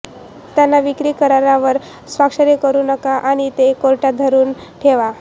त्यांना विक्री करारावर स्वाक्षरी करू नका आणि ते कोर्टात धरून ठेवा